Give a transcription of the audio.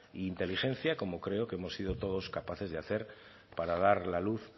e inteligencia como creo que hemos sido todos capaces de hacer para dar la luz